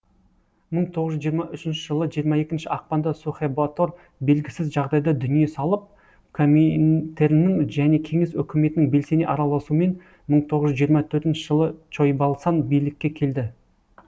мың тоғыз жүз жиырма үшінші жылы жиырма екінші ақпанда сухэбатор белгісіз жағдайда дүние салып коминтерннің және кеңес өкіметінің белсене араласуымен мың тоғыз жүз жиырма төртінші жылы чойбалсан билікке келді